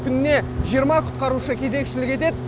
күніне жиырма құтқарушы кезекшілік етеді